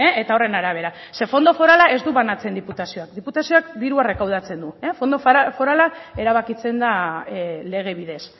eta horren arabera ze fondo forala ez du banatzen diputazioak diputazioak dirua rekaudatzen du fondo forala erabakitzen da lege bidez